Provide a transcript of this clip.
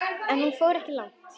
En hún fór ekki langt.